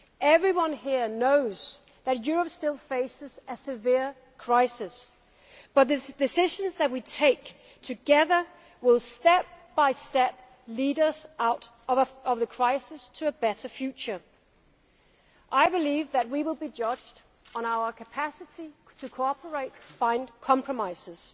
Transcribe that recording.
so. Everyone here knows that Europe still faces a severe crisis, but the decisions that we take together will lead us step by step out of the crisis to a better future. I believe that we will be judged on our capacity to cooperate and find compromises.